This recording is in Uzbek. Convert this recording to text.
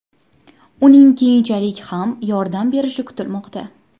Uning keyinchalik ham yordam berishi kutilmoqda.